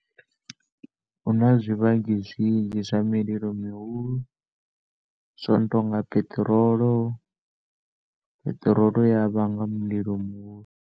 Huna zwivhangi zwinzhi zwa mililo mihulu zwino tonga piṱirolo, piṱirolo iya vhanga mulilo muhulu.